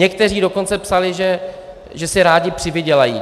Někteří dokonce psali, že si rádi přivydělají.